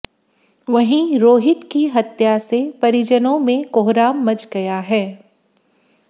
वहीं रोहित की हत्या से परिजनों में कोहराम मच गया है